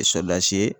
ye